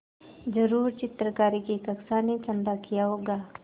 ज़रूर चित्रकारी की कक्षा ने चंदा किया होगा